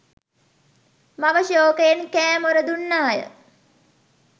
මව ශෝකයෙන් කෑ මොර දුන්නාය